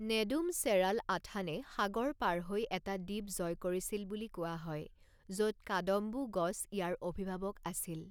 নেডুম Cheralathan সাগৰ পাৰ হৈ এটা দ্বীপ জয় কৰিছিল বুলি কোৱা হয়, য'ত কাদম্বু গছ ইয়াৰ অভিভাৱক আছিল।